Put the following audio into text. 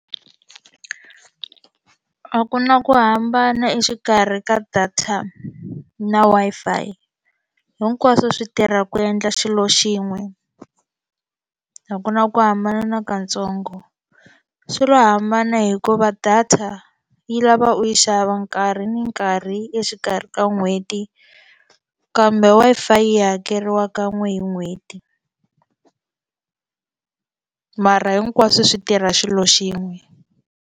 A ku na ku hambana exikarhi ka data na Wi-Fi hinkwaswo swi tirha ku endla xilo xin'we a ku na ku hambana nakatsongo swi lo hambana hikuva data yi lava u yi xava nkarhi ni nkarhi exikarhi ka n'hweti kambe Wi-Fi yi hakeriwa ka n'we hi n'hweti mara hinkwaswo swi tirha xilo xin'we.